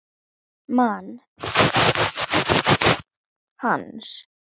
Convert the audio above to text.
Man að vinurinn kom til hans.